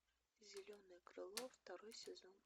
зеленое крыло второй сезон